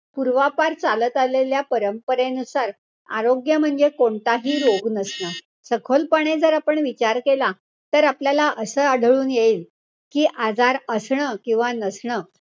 पूर्वापार चालत आलेल्या परंपरेनुसार आरोग्य म्हणजे कोणताही रोग नसणं. सखोलपणे जर आपण विचार केला, तर आपल्याला असं आढळून येईल कि, आजार असणं किंवा नसणं,